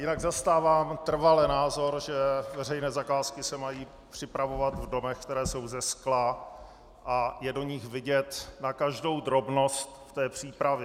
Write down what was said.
Jinak zastávám trvale názor, že veřejné zakázky se mají připravovat v domech, které jsou ze skla a je do nich vidět na každou drobnost v té přípravě.